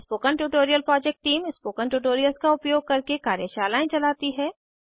spoken tutorial project team spoken tutorials का उपयोग करके कार्यशालाएं चलाती है